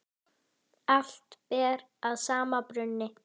Allt ber að sama brunni.